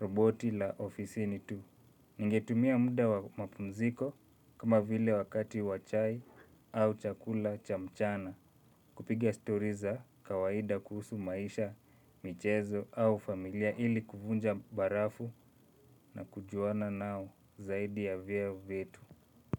roboti la ofisini tu. Ningetumia munda wa mapumziko kama vile wakati wachai au chakula cha mchana. Kupiga story za kawaida kuhusu maisha, michezo au familia ili kuvunja barafu na kujuana nao zaidi ya vyeo vyetu.